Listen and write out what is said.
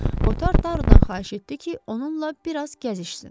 Kotar Tarudan xahiş etdi ki, onunla biraz gəzişsin.